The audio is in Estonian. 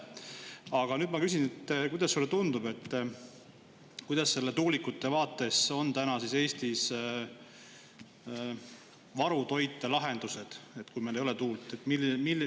Aga nüüd ma küsin, kuidas sulle tundub, kuidas selle tuulikute vaates on täna siis Eestis varutoitelahendused, et kui meil ei ole tuult.